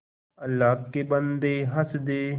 अल्लाह के बन्दे हंस दे